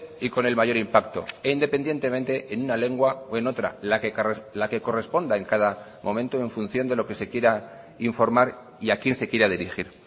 y con el mayor impacto e independientemente en una lengua o en otra la que corresponda en cada momento en función de lo que se quiera informar y a quién se quiera dirigir